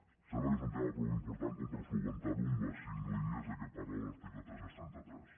em sembla que és un tema prou important com per solucionar lo amb les cinc línies de què parla l’article tres cents i trenta tres